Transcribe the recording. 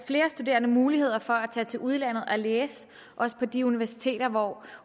flere studerende mulighed for at tage til udlandet og læse også på de universiteter hvor